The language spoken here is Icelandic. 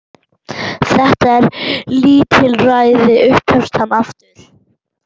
Þetta er lítilræði upphefst hann aftur.